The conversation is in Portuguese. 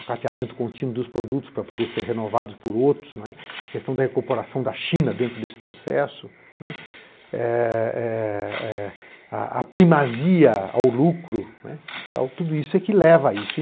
o cateamento contínuo dos produtos para poder ser renovados por outros, não é, aquestão da recuperação da China dentro desse processo, é a primazia ao lucro, tudo isso é que leva a isso.